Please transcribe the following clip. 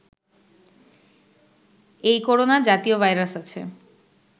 এই করোনা জাতীয় ভাইরাস আছে